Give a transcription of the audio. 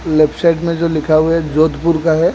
Left side में जो लिखा हुआ है जोधपुर का है।